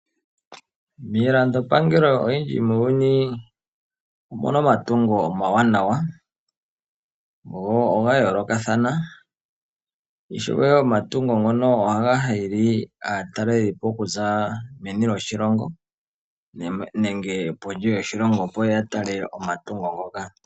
Miilando pangelo oyindji muuyuni omuna omatungo omawanawa go ogayoolokathana, ishewe omatungo ngoka ohaga hili aatalelipo okuza meni lyoshilongo nenge kondje yoshilongo opo yatale omatungo ngoka.